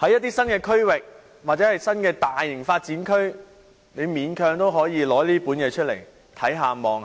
在一些新區或新的大型發展區，還可以勉強要求有關機構按《規劃標準》